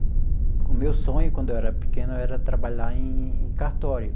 O meu sonho, quando eu era pequeno, era trabalhar em cartório.